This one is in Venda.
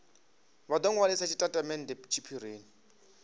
vha do nwalisa tshitatamennde tshiphirini